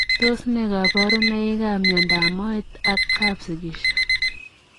Tos nee kabarunoik ap miondoop moet ak kapsigisio?